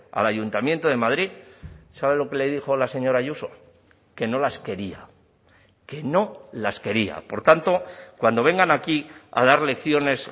al ayuntamiento de madrid sabe lo que le dijo la señora ayuso que no las quería que no las quería por tanto cuando vengan aquí a dar lecciones